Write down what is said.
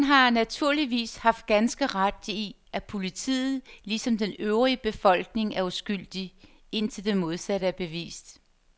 Han har naturligvis har ganske ret i, at politiet ligesom den øvrige befolkning er uskyldig, indtil det modsatte er bevist.